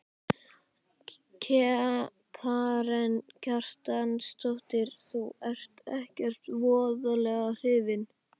Karen Kjartansdóttir: Þú ert ekkert voðalega hrifinn?